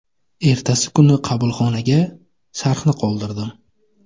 Ertasi kuni qabulxonaga sharhni qoldirdim.